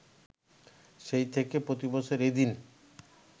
সেই থেকে প্রতিবছর এ দিন